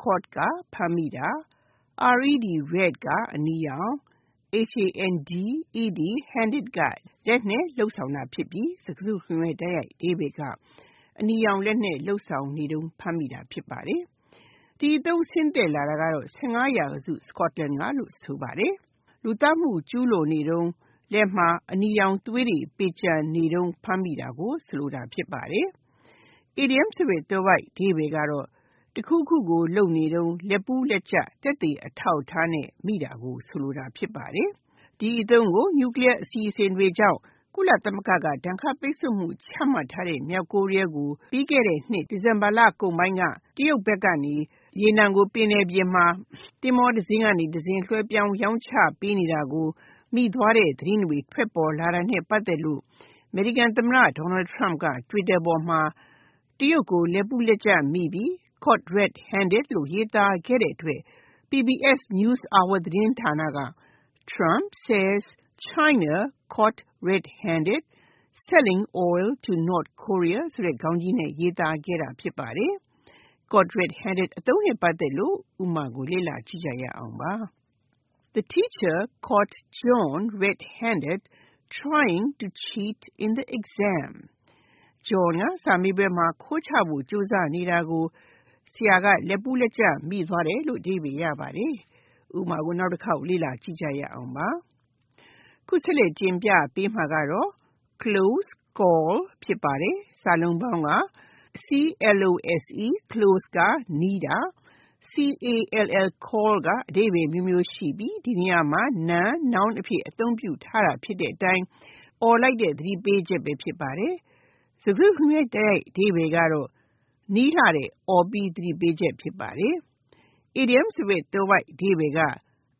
Caught က (ဖမ်းမိတာ) ၊ red (အနီရောင်)၊ handed (လက်နဲ့လုပ်ဆောင်တာ) ဖြစ်ပြီး၊ စကားစုတခုလုံးရဲ့ တိုက်ရိုက်အဓိပ္ပါယ်က အနီရောင်လက်နဲ့ လုပ်ဆောင်နေတုံးဖမ်းမိတာ ဖြစ်ပါတယ်။ ဒီအသုံး ဆင်းသက်လာတာကတော့ (၁၅) ရာစု Scotland က လို့ဆိုပါတယ်။ လက်မှာသွေးပေကျံနေတုန်း ဖမ်းမိတာဖြစ်ပါတယ်။ အီဒီယံသွယ်ဝိုက်အဓိပ္ပါယ်ကတော့ တခုခု လုပ်နေတုန်း လက်ပူးလက်ကြပ် သက်သေအထောက်အထားနဲ့မိတာ ဖြစ်ပါတယ်။ ဒီအသုံးကို နျူကလီးယားအစီအစဉ်တွေကြောင့် ကုလသမဂ္ဂက ဒဏ်ခတ်ပိတ်စို့မှု ချမှတ်ထားတဲ့ မြောက်ကိုရီးယားကို ပြီးခဲ့တဲ့နှစ် ဒီဇင်ဘာလကုန်ပိုင်းက တရုတ်ဘက်ကနေ ရေနံကို ပင်လယ်ပြင်မှာ သင်္ဘောတစင်းကနေတစင်း လွှဲပြောင်းရောင်းချပေးနေတာကိုတောင်ကိုးရီးယားကထောက်လှမ်းသိရှိခဲ့ တဲ့သတင်းတွေ ထွက်ပေါ်လာတာနဲ့ ပတ်သက်လို့ အမေရိကန်သမ္မတ Donald Trump က Twitter ပေါ်မှာ တရုတ်ကို လက်ပူးလက်ကြပ်မိပြီ Caught red handed လို့ ရေးသားခဲ့တဲ့အတွက် PBS သတင်းဌာနက Trump says China 'caught red handed' selling oil to North Korea ခေါင်းကြီးနဲ့ ရေးခဲ့တာ ဖြစ်ပါတယ်။ ဒီအသုံးနဲ့ပတ်သက်တဲ့ ဥပမာကို လေ့လာကြည့်ရအောင်ပါ။ John tried to cheat in the exam, but the teacher caught him “red handed”. John က စာမေးပွဲမှာ ခိုးချဖို့ ကြိုးစားနေတာကို ဆရာက လက်ပူးလက်ကြပ် မိသွားခဲ့တယ်။ (၂) Close call Close (နီးကပ်တာ)၊ call က အဓိပ္ပါယ်အမျိုးမျိုးရှိပြီး ဒီနေရာမှာ နာမ် (Noun) အဖြစ် အသုံးပြုထားတာ ဖြစ်တဲ့အတိုင်း အော်ပြီးသတိပေးချက် ဖြစ်ပါတယ်။ စကားစုတခုလုံးရဲ့ တိုက်ရိုက်အဓိပ္ပါယ်က နီးတဲ့ အော်ပြီး သတိပေးချက် ဖြစ်ပါတယ်။ အီဒီယံသွယ်ဝိုက်အဓိပ္ပါယ်က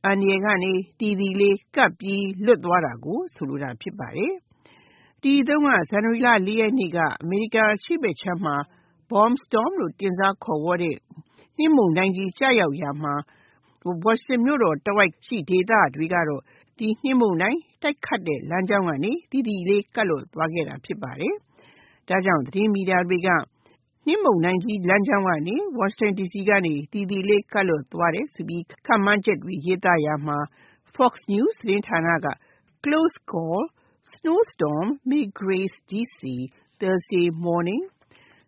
အန္တရာယ်ကနေ သီသီလေး ကပ်ပြီးလွတ်သွားတာကို ဆိုလိုတာ ဖြစ်ပါတယ်။ ဒီအသုံးက ဇန်နဝါရီလ (၄) ရက်နေ့က အမေရိကန်အရှေ့ဘက်အခြမ်းမှာ Bomb storm လို့ တင်စားခေါ်ဝေါ်တဲ့ ဗုံးကွဲသလိုပြင်းထန်တဲ့နှင်းမုန်တိုင်းကြီး ကျရောက်ရာမှာ ဝါရှင်တန်မြို့တော်တဝိုက်ရှိ ဒေသတွေကတော့ ဒီ နှင်းမုန်တိုင်း တိုက်တဲ့ လမ်းကြောင်းကနေ သီသီလေး ကပ်လွတ်သွားခဲ့တာ ဖြစ်ပါတယ်။ ဒါကြောင့် သတင်းမီဒီယာတွေက နှင်းမုန်တိုင်းကြီး လမ်းကြောင်းကနေ ဝါရှင်တန်ဒီစီ သီသီလေး ကပ်လွတ်သွားတယ်ဆိုပြီး ခန့်မှန်းချက်တွေ ရေးသားရာမှာ Fox News သတင်းဌာနက Close call: Massive snow storm may graze D.C. Thursday morning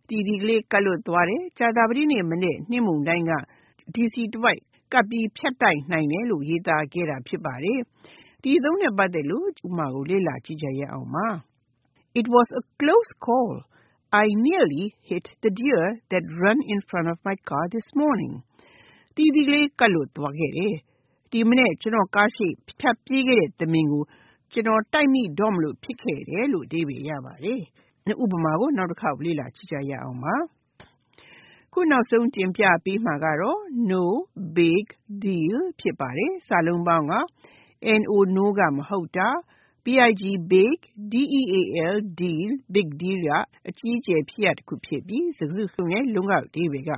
ဆိုပြီး၊သီသီလေး ကပ်လွတ်သွားမယ် ၊ ကြာသပတေးနေ့ နှင်းမုန်တိုင်းက DC တဝိုက် ကပ်ပြီးဖြတ်တိုက်နိုင်တယ်လို့ ရေးသားခဲ့တာ ဖြစ်ပါတယ်။ ဒီအသုံးနဲ့ပတ်သက်တဲ့ ဥပမာကို လေ့လာကြည့်ရအောင်ပါ။ It was a “close call”. I nearly hit a deer that ran in front of my car this morning. သီသီလေး ကပ်လွတ်သွားခဲ့တယ်။ ဒီမနက် ကျနော့်ကားရှေ့ ဖြတ်ပြေးခဲ့တဲ့ သမင်ကို ကျနော် တိုက်မိတော့မလို ဖြစ်ခဲ့တယ်။ (၃) No big deal No (မဟုတ်တာ)၊ big deal (အကြီးအကျယ် ဖြစ်ရပ်တခု ဖြစ်ပြီး စကားစုတစုလုံးရဲ့ တိုက်ရိုက်အဓိပ္ပါယ်က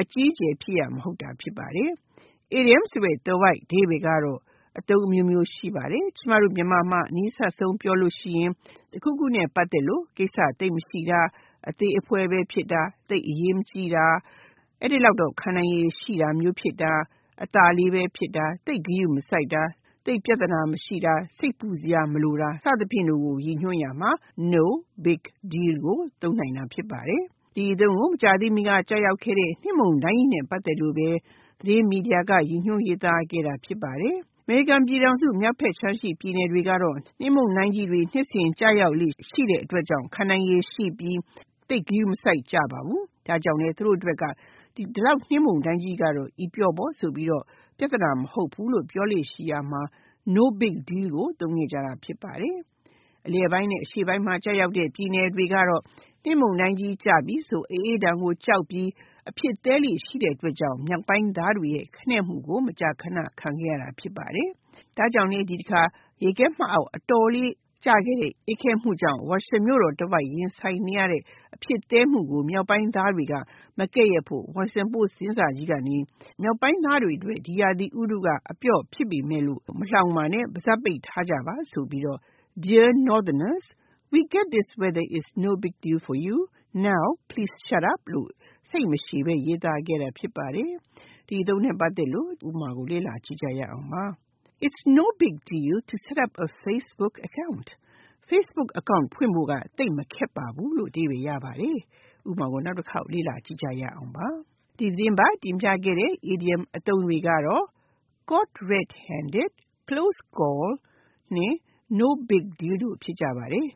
အကြီးအကျယ်ဖြစ်ရပ် မဟုတ်တာ ဖြစ်ပါတယ်။ အီဒီယံသွယ်ဝိုက်အဓိပ္ပါယ်ကတော့ အသုံးအမျိုးမျိုး ရှိပါတယ်။ ကျမတို့မြန်မာမှာ အနီးစပ်ဆုံး ပြောရရင်၊ တခုခုနဲ့ ပတ်သက်လို့သိပ်ကိစ္စမရှိတာ၊ အသေးအဖွဲဖြစ်တာ၊ သိပ်အရေးမကြီးတာ၊ အဲဒီလောက်တော့ ခံနိုင်ရည်ရှိတာမျိုးဖြစ်တာ၊ အသာလေးပဲဖြစ်တာ၊ သိပ်ဂရုမစိုက်တာ၊ သိပ်ပြဿနာ မရှိတာ၊ စိတ်ပူစရာမလိုတာ စသည်ဖြင့်တို့ကို ရည်ညွှန်းရာမှာ No big deal ကို သုံးနိုင်တာ ဖြစ်ပါတယ်။ ဒီအသုံးကို မကြာသေးမီက ကျရောက်ခဲ့တဲ့ နှင်းမုန်တိုင်းကြီးနဲ့ ပတ်သက်လို့ပဲ သတင်းမီဒီယာတွေက ရည်ညွှန်းရေးသားခဲ့တာ ဖြစ်ပါတယ်။ အမေရိကန်ပြည်ထောင်စု မြောက်ဘက်ခြမ်းရှိ ပြည်နယ်တွေကတော့ နှင်းမုန်တိုင်းကြီးတွေ နှစ်စဉ်ကျရောက်လေ့ ရှိတဲ့အတွက်ကြောင့် ခံနိုင်ရည်ရှိပြီး သိပ်ဂရုမစိုက်ကြပါဘူး။ ဒါကြောင့်လဲ အဲဒီမြောက်ပိုင်းသားတွေအတွက်က ဒီလောက်နှင်းမုန်တိုင်းကြီးကတော့ အပျော့ပေါ့ဆိုပြီးတော့ ပြဿနာ မဟုတ်ဘူးလို့ ပြောလေ့ရှိရာမှာ No big deal ကိုသုံးခဲ့ကြတာ ဖြစ်ပါတယ်။ အလယ်ပိုင်းနဲ့ အရှေ့ပိုင်း ပြည်နယ်တွေကတော့ နှင်းမုန်တိုင်းကြီးကျပြီဆိုရင် အအေးဒဏ်ကိုကြောက်ပြီး အဖြစ်သည်းလေ့ရှိတာကြောင့် မြောက်ပိုင်းသားတွေရဲ့ ခနဲ့မှုကို မကြာခဏ ခံခဲ့ရတာ ဖြစ်ပါတယ်။ ဒါကြောင့်လဲ ဒီတခါ ရေခဲမှတ်အောက် အတော်လေး ကျခဲ့တဲ့ အေးခဲမှုကြောင့် ဝါရှင်တန်မြို့တော်တဝိုက် ရင်ဆိုင်နေရတဲ့ အဖြစ်သည်းမှုကို မြောက်ပိုင်းသားတွေက မကဲ့ရဲ့ဖို့ Washington Post သတင်းစာကြီးကနေ မြောက်ပိုင်းသားတွေအတွက် ဒီရာသီက အပျော့ဖြစ်ပေမယ့်လို့ မလှောင်ပါနဲ့ ပါးစပ်ပိတ်ထားကြပါဆိုပြီးတော့ Dear Northerners: We get that this weather is no big deal for you. Now please shut up လို့ စိတ်မရှည်ဘဲ ရေးသားခဲ့တာ ဖြစ်ပါတယ်။ ဒီအသုံးနဲ့ပတ်သက်တဲ့ ဥပမာကို လေ့လာကြည့်ရအောင်ပါ။ It's “no big deal” to set up a Facebook account. Facebook အကောင့် ဖွင့်ဖို့က သိပ်မခက်ပါဘူး။ ဒီသတင်းပတ် တင်ပြခဲ့တဲ့ idioms အသုံးတွေက Caught red handed, Close call နဲ့ No big deal တို့ ဖြစ်ကြပါတယ်